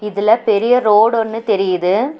இதுல பெரிய ரோடு ஒன்னு தெரியிது.